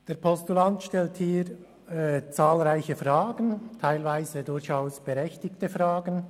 Der Postulant stellt hier zahlreiche, teilweise durchaus berechtigte Fragen.